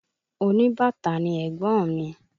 Oníbàtá ni ẹ̀gbọ́n mi.